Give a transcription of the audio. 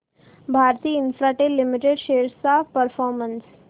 Bharti Infratel limited shares चा performance